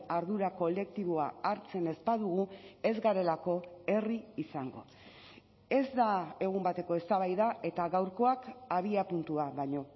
ardura kolektiboa hartzen ez badugu ez garelako herri izango ez da egun bateko eztabaida eta gaurkoak abiapuntua baino